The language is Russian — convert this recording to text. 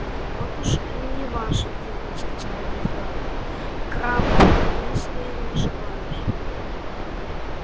вот уж не ваше дело сказал он твёрдо крабб если я не ошибаюсь